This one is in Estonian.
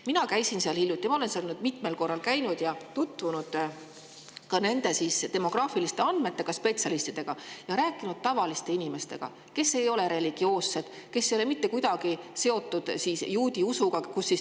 Mina käisin seal hiljuti, ma olen seal nüüd mitmel korral käinud ja tutvunud nende demograafiliste andmetega, spetsialistidega ning rääkinud tavaliste inimestega, kes ei ole religioossed ega kuidagi seotud juudi usuga.